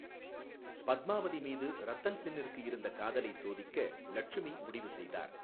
பத்மாவதி மீது ரத்தன் சென்னிற்கு இருந்த காதலை சோதிக்க லட்சுமி முடிவு செய்தார்.